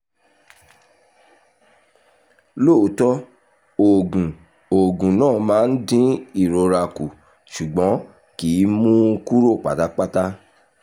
lóòótọ́ oògùn oògùn náà máa ń dín ìrora kù ṣùgbọ́n kì í mú un kúrò pátápátá